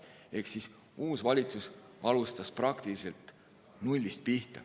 Ehk uus valitsus alustas praktiliselt nullist.